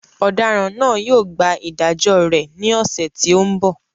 Ọ̀daràn náà yóò gba ìdájọ́ rẹ̀ ní ọ̀sẹ̀ tí ó ń bọ̀